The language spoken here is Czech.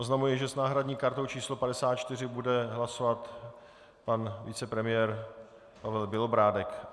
Oznamuji, že s náhradní kartou číslo 54 bude hlasovat pan vicepremiér Pavel Bělobrádek.